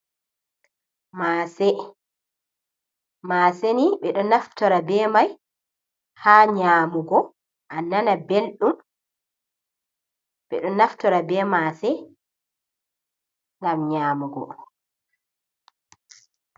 Mase, maseni ɓeɗo naftora be mai ha nyamugo an nana beldum. Ɓeɗo naftora be mase gam nyamugo.